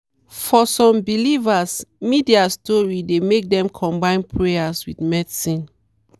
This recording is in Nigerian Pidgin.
for some believers media story dey make dem combine prayer with medicine.